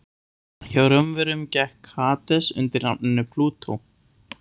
Hjá Rómverjum gekk Hades undir nafninu Plútó.